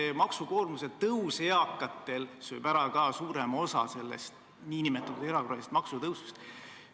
Eakate maksukoormuse tõus sööb ära ka suurema osa sellest nn erakorralisest pensionitõusust.